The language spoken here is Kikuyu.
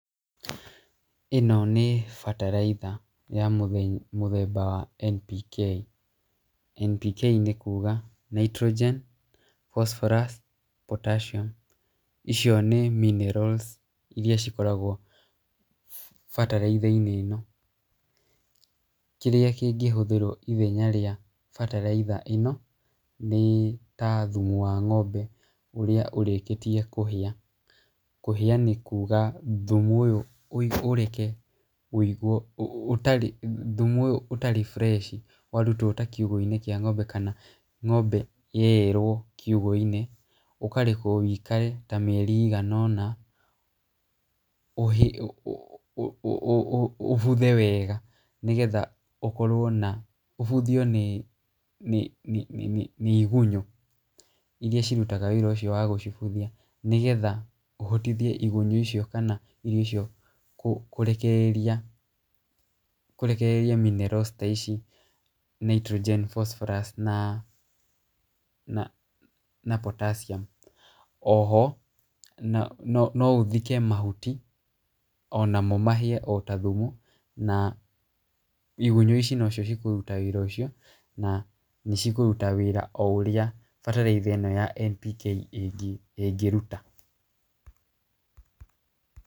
Ino nĩ bataraitha ya mũthemba wa NPK, NPK nĩ kuuga Nitrogen Phosphorous Potassium icio nĩ minerals iria cikoragwo bataraitha-inĩ ĩno, kĩrĩa kĩngĩhũthĩrwo ithenya rĩa bataraitha ĩno, nĩ ta thumu wa ngombe ũrĩa ũrĩkĩtie kũhĩa, kũhĩa nĩkuuga thumu ũyũ ũreke wĩigwo ũtarĩ thumu ũyũ ũtarĩ fresh warutwo ta kiugũ-inĩ kĩa ngombe kana ngombe yaeĩrwo kiugũ-inĩ, ũkarekwo wĩikare ta mieri ĩigana ona ũ ũ ũ ũbuthe wega, nĩgetha ũkorwo na ũbuthio nĩ nĩ nĩ nĩ igunyu iria cirutaga wĩra ũcio wa gũcibuthia, nĩgetha ũhotithie igunyu icio kana icio kũrekereria kũrekereria minerals ta ici nitrogen phosphorous na na potassium , oho no no ũthike mahuti onamo mahĩe ota thumu, na igunyu ici no cio cikũruta wĩra ũcio, na nĩ cikũruta wĩra ũrĩa bataraitha ĩno ya NPK ĩngĩruta.